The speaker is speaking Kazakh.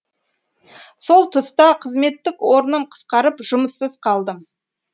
сол тұста қызметтік орным қысқарып жұмыссыз қалдым